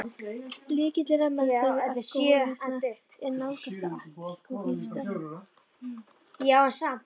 Lykillinn að meðferð við alkohólisma er að nálgast alkohólistann.